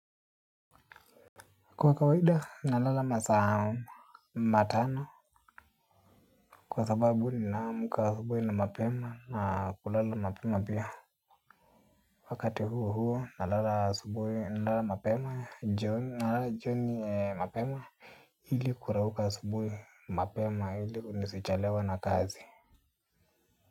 Kwa kawaida nalala masaa matano. Kwa sababu nina amka asubuhi na mapema na kulala mapema pia. Wakati huo huo nalala asubuhi nalala mapema. Nalala jioni mapema ili kurauka asubuhi mapema ili nisichelewe na kazi.